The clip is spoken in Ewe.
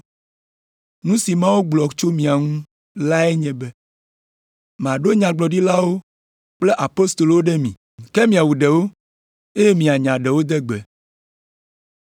Nu si Mawu gblɔ tso mia ŋu lae nye be, ‘Maɖo nyagblɔɖilawo kple apostolowo ɖe mi. Ke miawu ɖewo, eye mianya ɖewo de gbe.’